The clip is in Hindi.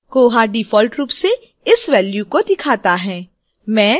koha default रूप से इस value को दिखाता है